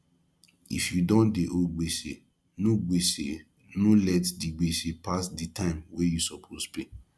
if you don dey owe gbese no gbese no let di gbese pass di time wey you suppose pay